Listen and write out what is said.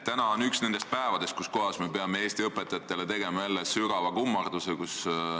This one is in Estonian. Täna on üks nendest päevadest, mil me peame jälle tegema Eesti õpetajatele sügava kummarduse.